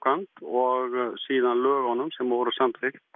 og svo lögunum sem voru samþykkt